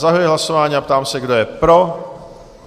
Zahajuji hlasování a ptám se, kdo je pro?